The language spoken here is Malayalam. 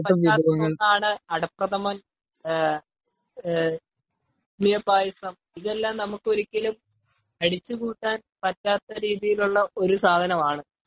ഒഴിച്ച് മാറ്റാൻ പറ്റാത്ത ഒന്ന് ആണ് അഡ പ്രഥമൻ സേമിയ പായസം ഇതെല്ലം നമുക്കു ഒരിക്കലും ഒഴിച്ച് കൂട്ടാൻ പറ്റാത്ത രീതിയിൽ ഉള്ള ഒരു സാധനം ആണ് .